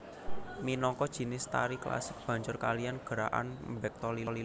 Minangka jinis tari klasik Banjar kaliyan gerakan mbekta lilin